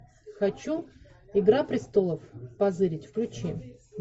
хочу игра престолов позырить включи